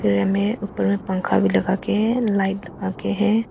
यहा में ऊपर में पंखा भी लगा के लाइट आके के है।